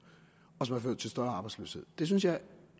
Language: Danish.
og som har ført til større arbejdsløshed det synes jeg